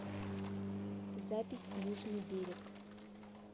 запись южный берег